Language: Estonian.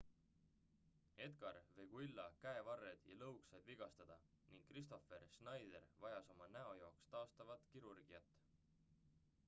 edgar veguilla käevarred ja lõug said vigastada ning kristoffer schneider vajas oma näo jaoks taastavat kirurgiat